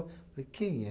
Eu falei, quem é?